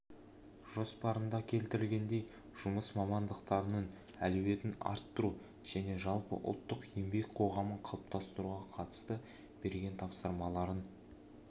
жоспарында келтіргеніндей жұмыс мамандықтарының әлеуетін арттыру және жалпы ұлттық еңбек қоғамын қалыптастыруға қатысты берген тапсырмаларын